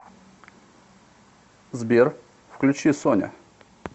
сбер включи соня